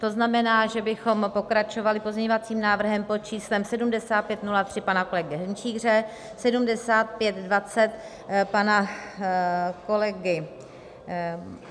To znamená, že bychom pokračovali pozměňovacím návrhem pod číslem 7503 pana kolegy Hrnčíře, 7520 pana kolegy...